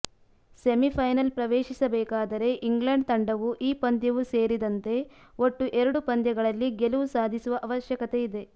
semifinal ಪ್ರವೇಶಿಸಬೇಕಾದರೆ England ತಂಡವು ಈ ಪಂದ್ಯವು ಸೇರಿದಂತೆ ಒಟ್ಟು ಎರಡು ಪಂದ್ಯಗಳಲ್ಲಿ ಗೆಲುವು ಸಾಧಿಸುವ ಅವಶ್ಯಕತೆ ಇದೆ